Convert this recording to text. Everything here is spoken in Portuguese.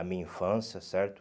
A minha infância, certo?